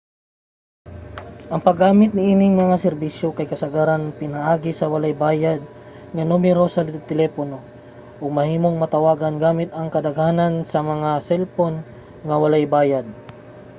ang paggamit niining mga serbisyo kay kasagaran pinaagi sa walay bayad nga numero sa telepono nga mahimong matawagan gamit ang kadaghanan sa mga selpon nga walay bayad